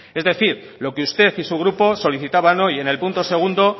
es decir lo que usted y su grupo solicitaban hoy en el punto segundo